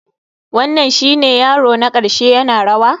Wannan shine yaro na ƙarshe yana rawa?